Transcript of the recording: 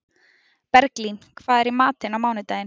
Berglín, hvað er í matinn á mánudaginn?